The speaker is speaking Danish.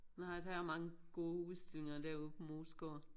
Nej der er mange gode udstillinger derude på Moesgaard